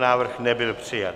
Návrh nebyl přijat.